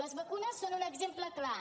les vacunes en són un exemple clar